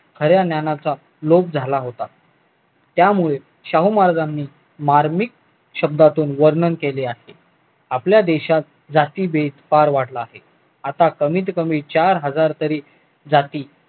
खऱ्या ज्ञानाचा लोप झाला होता त्यामुळे शाहू महाराजांनी मार्मिक शब्दातून वर्णन केले आहे आपल्या देशात जातीभेद फार वाढला आहे आता कमीत कमी चार हजार तरी जाती